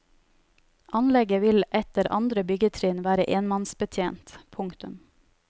Anlegget vil etter andre byggetrinn være enmannsbetjent. punktum